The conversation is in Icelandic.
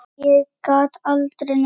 Ég gat aldrei neitt.